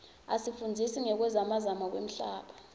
isifundzisa ngekuzamazama kwemhlaba